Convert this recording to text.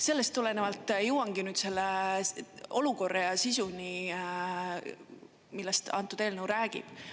Sellest tulenevalt jõuangi nüüd selle olukorra ja sisuni, millest eelnõu räägib.